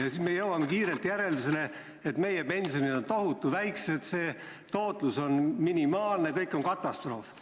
Seda tehes me jõuame kiirelt järeldusele, et meie pensionid on tohutu väikesed, fondide tootlus on minimaalne, olukord on katastroofiline.